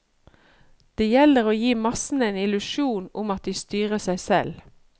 Det gjelder å gi massene en illusjon om at de styrer seg selv.